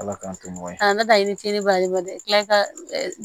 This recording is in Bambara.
Ala k'an to ɲɔgɔn ye k'a ta i ni ce a le la i tila ka